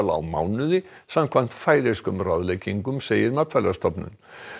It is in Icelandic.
á mánuði samkvæmt færeyskum ráðleggingum segir Matvælastofnun